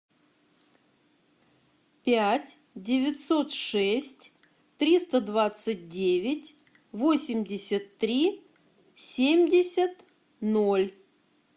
пять девятьсот шесть триста двадцать девять восемьдесят три семьдесят ноль